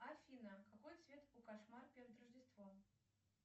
афина какой цвет у кошмар перед рождеством